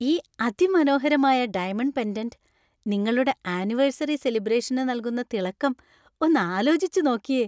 ഈ അതിമനോഹരമായ diamond pendant നിങ്ങളുടെ ആനിവേഴ്സറി സെലിബ്രേഷന് നൽകുന്ന തിളക്കം ഒന്നാലോചിച്ചു നോക്കിയേ.